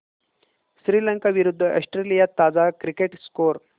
श्रीलंका विरूद्ध ऑस्ट्रेलिया ताजा cricket score